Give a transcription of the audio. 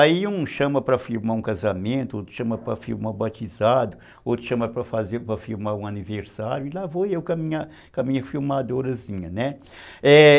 Aí um chama para filmar um casamento, outro chama para filmar um batizado, outro chama para filmar um aniversário, e lá vou eu com a minha, com a minha filmadorazinha, né.